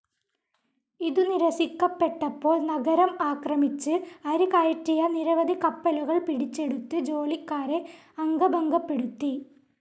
ഇതു നിരസിക്കപ്പെട്ടപ്പോൾ നഗരം ആക്രമിച്ച് അരി കയറ്റിയ നിരവധി കപ്പലുകൾ പിടിച്ചെടുത്ത് ജോലിക്കാരെ അംഗഭംഗപ്പെടുത്തി